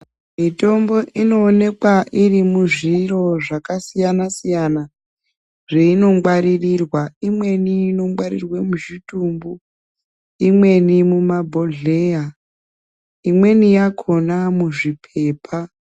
Mitombo inoonekwa iri muzviro zvakasiyana siyana zveinongwaririrwa imweni inongwarirwe muzvitumbu imweni mumabhodhleya imweni yakhona muzviphepha.